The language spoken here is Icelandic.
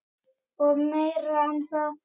Og meira en það.